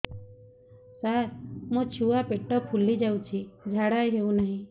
ସାର ମୋ ଛୁଆ ପେଟ ଫୁଲି ଯାଉଛି ଝାଡ଼ା ହେଉନାହିଁ